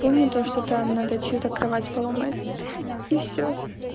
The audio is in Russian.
помню то что там надо чью-то кровать поломать и всё